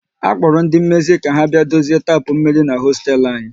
A kpora ndị mmezi ka ha bịa dozie tapu mmiri n'hosteelu anyi